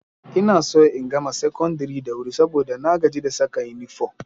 Ina so in gama secondary da wuri saboda na gaji da saka inifo